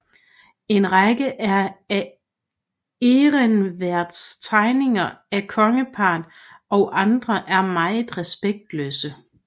En række af Ehrensvärds tegninger af kongeparret og andre er meget respektløse